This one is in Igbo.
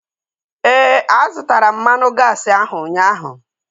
Ee, a zụtara m mmanụ gaasi ahu ụnyaahụ